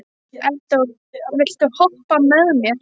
Eldór, viltu hoppa með mér?